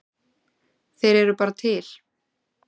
Þeir eru bara til.